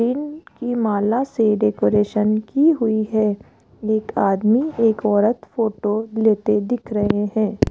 इन की माला से डेकोरेशन की हुई है एक आदमी एक औरत फोटो लेते दिख रहे हैं।